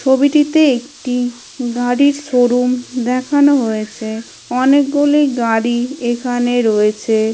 ছবিটিতে একটি গাড়ির শোরুম দেখানো হয়েছে | অনেকগুলি গাড়ি এখানে রয়েছে ।